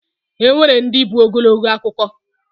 Enwere ndi bụ Ogologo akụkọ.